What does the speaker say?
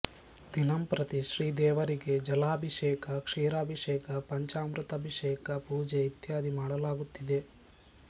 ದಿನಂಪ್ರತಿ ಶ್ರೀದೇವರಿಗೆ ಜಲಾಭಿಷೇಕ ಕ್ಷೀರಾಭಿಷೇಕ ಪಂಚಾಮೃತಅಭಿಷೇಕ ಪೂಜೆ ಇತ್ಯಾದಿ ಮಾಡಲಾಗುತ್ತಿದೆ